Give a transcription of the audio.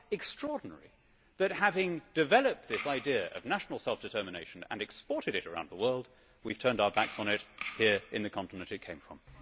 How extraordinary that having developed this idea of national self determination and exported it around the world, we have turned out backs on it here in the continent it came from.